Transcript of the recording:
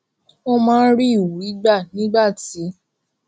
ó máa ń rí ìwúrí gbà nígbà tí